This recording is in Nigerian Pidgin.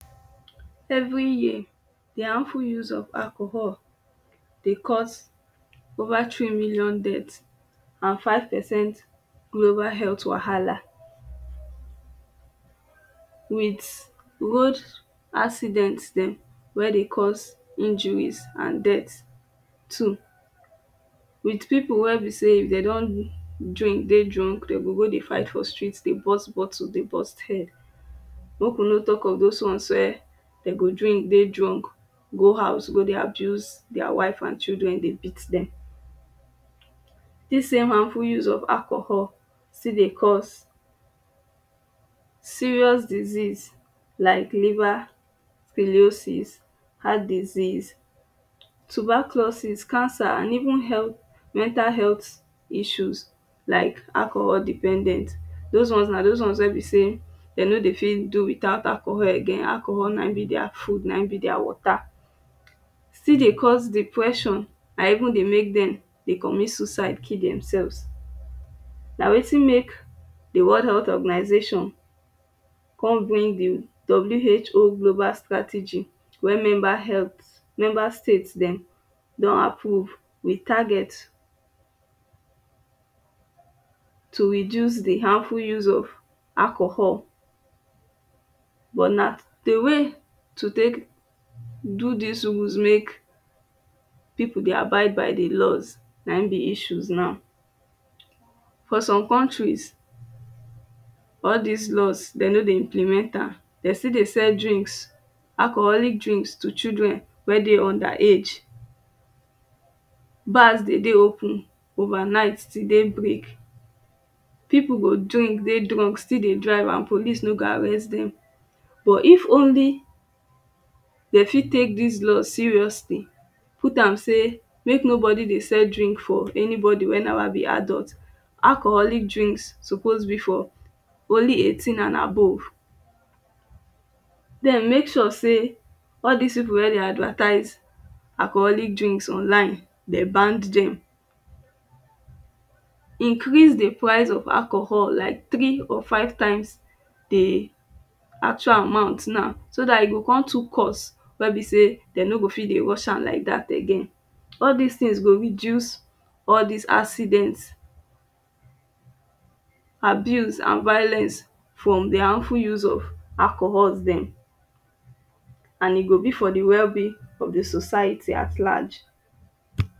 Every year the ample use of alcohol dey cause cause over three million deaths and 5 percent global health wahala with road accident dem wey dey cause injuries and death too with people wey be say e dey don drink dey drunk deydey go dey fight for street dey burst bottle dey burst head make we no talk of those one weydem go drink dey drunk go house go dey abuse their wife and children dey beat dem This same ample use of alcohol still dey cause serious diseases like liver pelisses Heart disease tuberculosis, cancer and even health mental health issues like alcohol dependent those ones na those ones wey be sey dem no dey fit do without alcohol again. Alcohol na him be their food na him be their water still dey cause depression and even dey make demdey commit suicide kill themselves nawetin make the world health organisation come bring the World Health Organization global strategy when member health member state dem don approve with target to reduce the harmful use of alcohol but na the way to take do this rules make people dey abide by the laws na him be issues now for some countries all this laws dem no dey implement am dey still dey cell drinks alcoholic drinks to children wey dey under age bars dey dey open over night till day break people go drink dey drunk still dey drive and police no go arrest them but if only dem fit take this laws seriously put am say make nobody dey sell drink for anybody wey never be adult. Alcoholic drink suppose be fit only 18 and above then make sure say all this people wey dey advertise alcoholic drinks online dem ban dem Increase the price of alcohol like three or five times the actual amount now so there go come too cost wey be say dem no go fit dey rush am like that again all this things go reduce all this accident abuse and violence from the harmful use of alcohols dem and e go be for the well being of the society at large